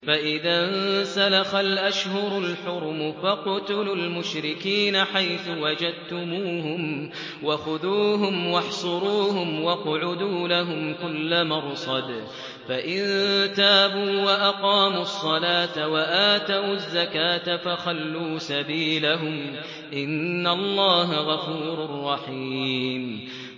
فَإِذَا انسَلَخَ الْأَشْهُرُ الْحُرُمُ فَاقْتُلُوا الْمُشْرِكِينَ حَيْثُ وَجَدتُّمُوهُمْ وَخُذُوهُمْ وَاحْصُرُوهُمْ وَاقْعُدُوا لَهُمْ كُلَّ مَرْصَدٍ ۚ فَإِن تَابُوا وَأَقَامُوا الصَّلَاةَ وَآتَوُا الزَّكَاةَ فَخَلُّوا سَبِيلَهُمْ ۚ إِنَّ اللَّهَ غَفُورٌ رَّحِيمٌ